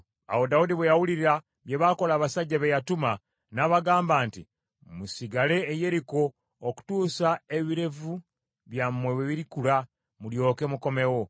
Awo Dawudi bwe yawulira bye baakola abasajja be yatuma, n’abagamba nti, “Musigale e Yeriko okutuusa ebirevu byammwe lwe birikula, mulyoke mukomewo.”